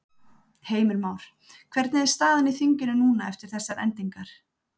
Heimir Már: Hvernig er staðan í þinginu núna eftir þessar endingar?